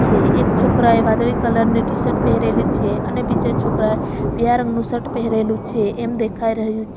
એક છોકરાએ વાદળી કલર ની ટીશર્ટ પહેરેલી છે અને બીજા છોકરાએ પીળા રંગનું શર્ટ પહેરેલું છે એમ દેખાઈ રહ્યું છ --